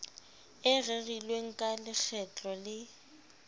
e rerilweng ka lekgetlo le